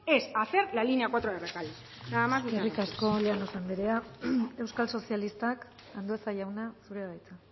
es hacer la línea cuatro de rekalde nada más muchas gracias eskerrik asko llanos anderea euskal sozialistak andueza jauna zurea da hitza